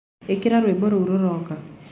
ĩkĩra rwĩmbo rũũ rũroka